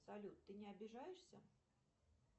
салют ты не обижаешься